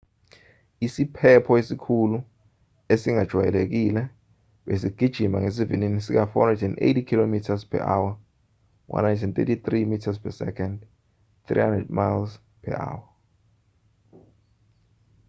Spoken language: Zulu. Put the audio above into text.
isiphepho esikhulu esingakwayelekile besigijima ngesivinini sika-480 km/h 133 m/s; 300 mph